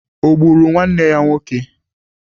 Ọ gburu nwanne ya nwoke?